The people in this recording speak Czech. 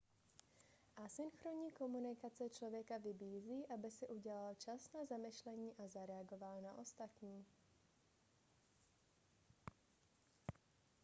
asynchronní komunikace člověka vybízí aby si udělal čas na zamyšlení a zareagoval na ostatní